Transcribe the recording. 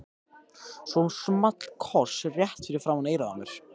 Svo small koss rétt fyrir framan eyrað á mér.